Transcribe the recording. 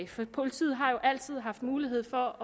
for politiet har jo altid haft mulighed for